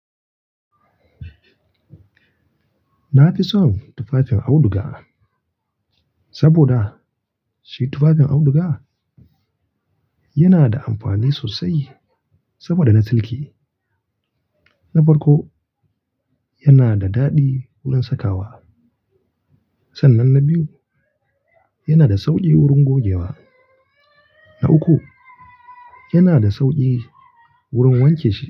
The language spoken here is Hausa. Na fi son tufafin auduga, saboda shi tufafin auduga yana da amfani sosai. Saboda na silki, na farko yana da daɗi wurin saka wa. Sannan na biyu, yana da sauƙi wurin gogewa. Na uku, yana da sauƙi wurin wanke shi.